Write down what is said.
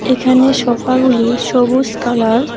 এখানে সোফাগুলি সবুজ কালার ।